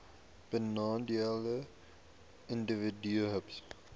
benadeelde individue hbis